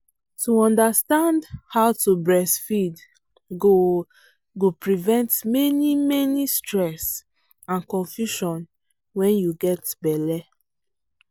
to understand how to breastfeed go go prevent many many stress and confusion when you get belle.